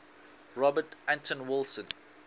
robert anton wilson